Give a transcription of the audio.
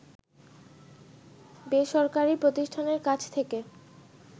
বেসরকারি প্রতিষ্ঠানের কাছ থেকে